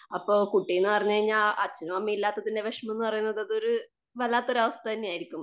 അപ്പം കുട്ടിന്നു പറഞ്ഞു കഴിഞ്ഞാൽ അച്ഛനും അമ്മയും ഇല്ലാത്തതിന്റെ വിഷമമെന്നു പറയുന്നത് അതൊരു വല്ലാത്തയൊരു അവസ്ഥ തന്നെയായിരിക്കും.